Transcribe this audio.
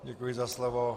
Děkuji za slovo.